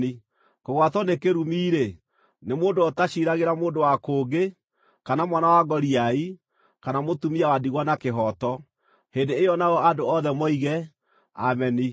“Kũgwatwo nĩ kĩrumi-rĩ, nĩ mũndũ ũrĩa ũtaciiragĩra mũndũ wa kũngĩ, kana mwana wa ngoriai, kana mũtumia wa ndigwa na kĩhooto.” Hĩndĩ ĩyo nao andũ othe moige, “Ameni!”